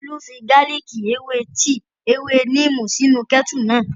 Tolú fi gálìkì, ewé tíì, ewé níìmù sínu kẹ́ẹ́tù náà